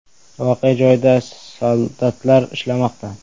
Voqea joyida soldatlar ishlamoqda.